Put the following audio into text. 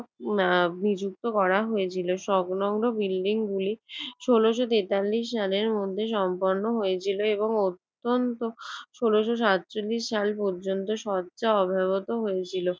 না বিযুক্ত করা হয়েছিল সংলগ্ন বিল্ডিংগুলি। ষোলশ তেতাল্লিশ সালের মধ্যে সম্পন্ন হয়েছিল এবং অত্যন্ত ষোলশ সাতচল্লিশ সাল পর্যন্ত শর্তে অব্যবহৃত হয়েছিল।